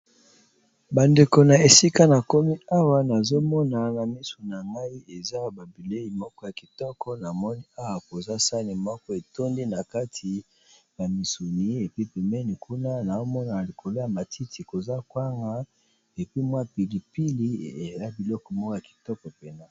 Ba ndeko na esika na komi awa nazo mona na misu na ngai eza ba bilei moko ya kitoko, na moni awa koza sani moko etondi na kati ya misuni epi pembeni kuna nao mona likolo ya matiti koza kwanga epi mwa pili pili ea biloko moko ya kitoko penza.